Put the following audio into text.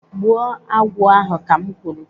Gbuo agwụ ahụ ka m kwuru.